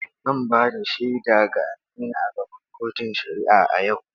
Zan ba da shaida ga Aminu a gaban kotun shari’a a yau.